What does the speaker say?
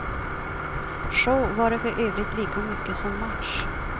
Show var det för övrigt lika mycket som match.